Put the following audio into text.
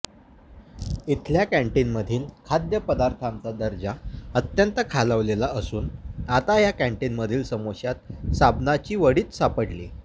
इथल्या कँटिनमधील खाद्य पदार्थांचा दर्जा अत्यंत खालावलेला असून आता या कँटिनमधील समोश्यात साबणाची वडीच सापडली